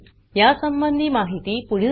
यासंबंधी माहिती पुढील साईटवर उपलब्ध आहे